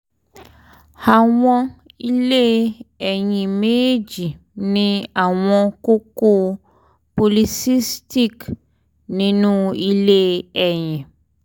awọn ilé ẹyin mejeeji ni awọn kókó s / o polycystic nínú ilé ẹyin